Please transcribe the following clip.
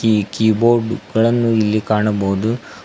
ಈ ಕೀಬೋರ್ಡ್ ಗಳನ್ನು ಇಲ್ಲಿ ಕಾಣಬಹುದು.